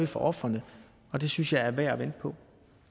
for ofrene og det synes jeg er værd at vente på